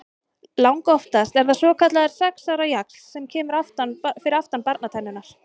Langoftast er það svokallaður sex ára jaxl sem kemur fyrir aftan barnatennurnar.